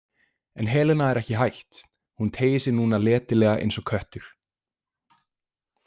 En Helena er ekki hætt, hún teygir sig núna letilega eins og köttur.